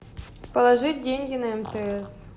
положить деньги на мтс